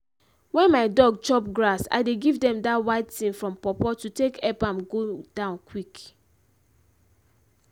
wen my dog chop grass i dey give them dat white tin from pawpaw to take ep am go down quick.